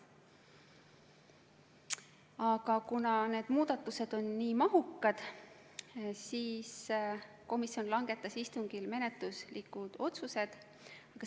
Aga kuna need muudatused on nii mahukad, siis komisjon langetas istungil menetluslikud otsused.